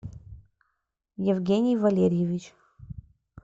евгений валерьевич